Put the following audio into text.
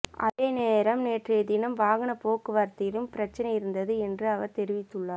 அதேநேரம் நேற்றைய தினம் வாகனப்போக்குவரத்திலும் பிரச்சனை இருந்தது என்று அவர் தெரிவித்துள்ளார்